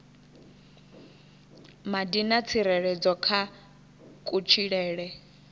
madi na tsireledzo kha kutshilele